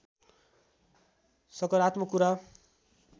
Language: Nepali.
सकारात्मक कुरा